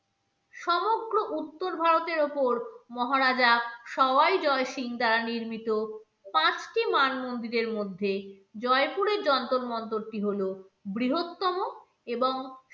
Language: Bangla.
সমগ্র উত্তর ভারতের ওপর মহারাজা শৌয়াই জয় সিং দ্বারা নির্মিত পাঁচটি মান মন্দিরের মধ্যে জয়পুরের যন্তর মন্তরটি হল বৃহত্তম এবং